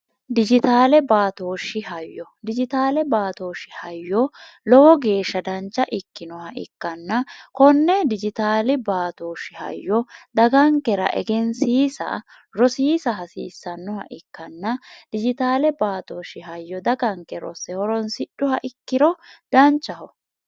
dijitaale baatooshi hayyo dijitaale baatooshi hayyo lowo geeshsha dancha ikkinoha ikkanna konne dijitaale baatooshi hayyo dagankera egensiisa rosiisa hasiissannoha ikkanna dijitaale baatooshi hayyo daganke rosse horonsidhuha ikkiro danchaho